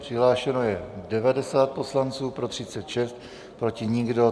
Přihlášeno je 90 poslanců, pro 36, proti nikdo.